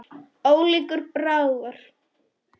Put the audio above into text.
Ólíkur bragur.